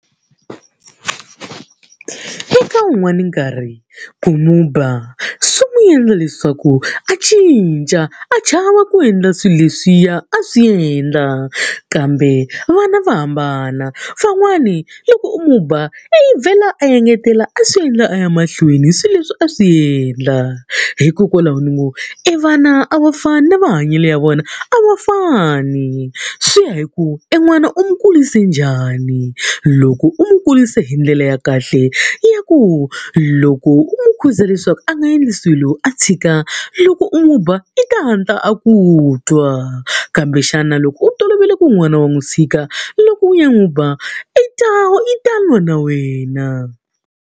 Eka un'wani nkarhi ku n'wi ba swi n'wi endla leswaku a cinca, a chava ku endla swilo leswiya a swi endla. Kambe vana va hambana, van'wani loko u n'wi ba u vhela a engetela a swi endla a ya mahlweni hi swilo leswi a swi endla. Hikokwalaho ni ngo evana a va fani ni mahanyele ya vona a va fani, swi ya hi ku en'wana u n'wi kurise njhani. Loko u n'wi kurise hi ndlela ya ka kahle ya ku loko u n'wi khuza leswaku a nga endli swilo a tshika, loko u n'wi ba i ta hatla a ku twa. Kambe xana loko u tolovele ku n'wana wa n'wi tshika loko u ya n'wi ba, u ta u ta lwa na wena.